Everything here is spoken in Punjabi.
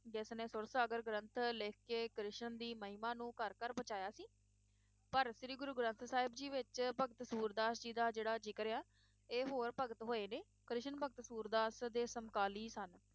ਜਿਸਨੇ ਸੁਰਸਾਗਰ ਗ੍ਰੰਥ ਲਿਖ ਕੇ ਕ੍ਰਿਸ਼ਨ ਦੀ ਮਹਿਮਾ ਨੂੰ ਘਰ ਘਰ ਪਹੁੰਚਾਇਆ ਸੀ ਪਰ ਸ਼੍ਰੀ ਗੁਰੂ ਗ੍ਰੰਥ ਸਾਹਿਬ ਜੀ ਵਿਚ ਭਗਤ ਸੂਰਦਾਸ ਜੀ ਦਾ ਜਿਹੜਾ ਜ਼ਿਕਰ ਆ ਇਹ ਹੋਰ ਭਗਤ ਹੋਏ ਨੇ ਕ੍ਰਿਸ਼ਨ ਭਗਤ ਸੂਰਦਾਸ ਦੇ ਸਮਕਾਲੀ ਸਨ